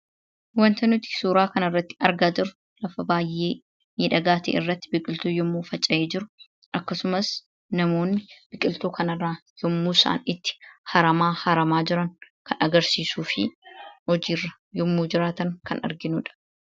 Waanti nuti suuraa kanarratti argaa jirru lafa baay'ee miidhagaa ta'e irratti biqiltuu yommuu faca'ee jiru akkasumas namoonni biqiltuu kanarraa yommuu isaan itti haramaa haramaa jiran kan agarsiisuu fi hojii irra yommuu jiraatan kan arginudha.